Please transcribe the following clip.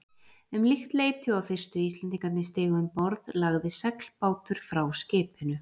Um líkt leyti og fyrstu Íslendingarnir stigu um borð, lagði seglbátur frá skipinu.